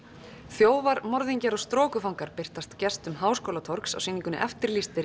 þjófar morðingjar og birtast gestum Háskólatorgs á sýningunni eftirlýstir